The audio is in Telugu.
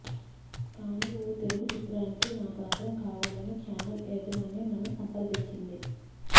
కానీ ఓ తెలుగు చిత్రానికి నా గాత్రం కావాలని ఛానెల్ యాజమాన్యం నన్ను సంప్రదించింది